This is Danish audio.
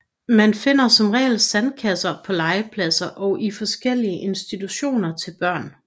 Man finder som regel sandkasser på legepladser og i forskellige institutioner til børn